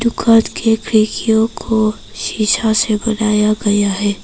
घर के खिड़कियों को शीशा से बनाया गया है।